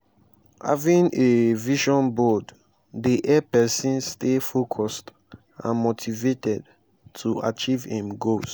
having a vision board dey help pesin stay focused and motivated to achieve im goals.